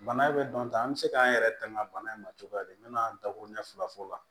Bana bɛ dɔn tan an bɛ se k'an yɛrɛ tanga bana in ma cogoya di n bɛ na n dakuruɲɛ filafo la